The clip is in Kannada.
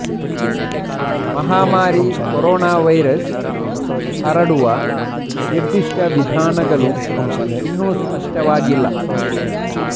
ಮಹಾಮಾರಿ ಕರೋನಾ ವೈರಸ್ ಹರಡುವ ನಿರ್ದಿಷ್ಟ ವಿಧಾನಗಳು ಇನ್ನೂ ಸ್ಪಷ್ಟವಾಗಿಲ್ಲ